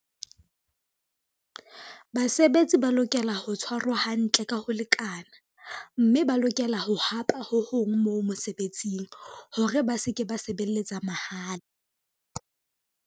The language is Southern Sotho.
Basebetsi ba lokela ho tshwarwa hantle ka ho lekana, mme ba lokela ho hapa ho hong moo mosebetsing hore ba se ke ba sebelletsa mahala.